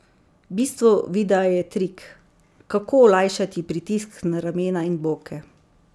Bistvo videa je trik, kako olajšati pritisk na ramena in boke.